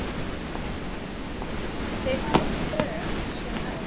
Þau tög sem öll.